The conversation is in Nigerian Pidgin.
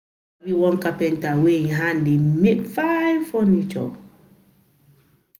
one carpenter wey im hand dey make fine furniture.